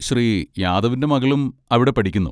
ശ്രീ യാദവിന്റെ മകളും അവിടെ പഠിക്കുന്നു.